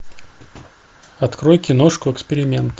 открой киношку эксперимент